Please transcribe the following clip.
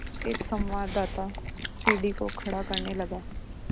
एक संवाददाता सीढ़ी को खड़ा करने लगा